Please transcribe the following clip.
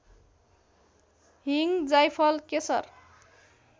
हिङ जाइफल केशर